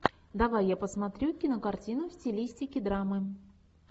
давай я посмотрю кинокартину в стилистике драмы